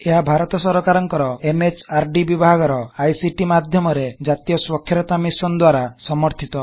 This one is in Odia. ଏହା ଭାରତ ସରକାରକଂର ଏମ ଏଚ ଆର ଡି mhrଡି ବିଭାଗର ଆଇ ସି ଟି icଟି ମାଧ୍ୟମରେ ଜ଼ାତୀୟ ସ୍ବାଖ୍ୟରତା ମିଶନ୍ ଦ୍ବାରା ସମର୍ଥିତ